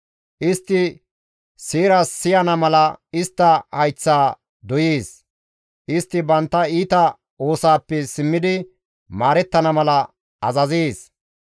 Istti seera siyana mala istta hayththaa doyees; istti bantta iita oosaappe simmidi maarettana mala azazees.